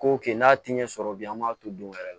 Ko kɛ n'a ti ɲɛ sɔrɔ bi an b'a to don wɛrɛ la